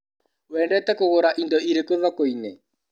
Wendete kũgũra indo irĩkũ thokoinĩ?